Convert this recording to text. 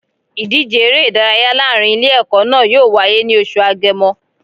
Ìdíje eré ìdárayá láàrin Ilé ẹ̀kọ́ náà yóò wáyé ní oṣù Agemo